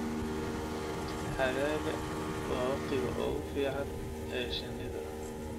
Xagaaga waa waqtiga ugu fiican ee shinnida.